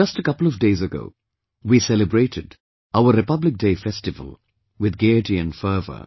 Just a couple of days ago, we celebrated our Republic Day festival with gaiety fervour